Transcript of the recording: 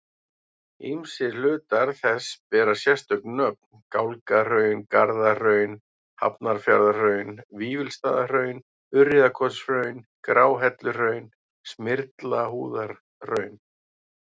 Ýmsir hlutar þess bera sérstök nöfn, Gálgahraun, Garðahraun, Hafnarfjarðarhraun, Vífilsstaðahraun, Urriðakotshraun, Gráhelluhraun, Smyrlabúðarhraun.